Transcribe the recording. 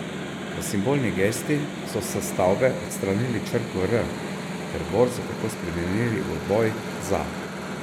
V simbolni gesti so s stavbe odstranili črko R ter borzo tako spremenili v Boj za.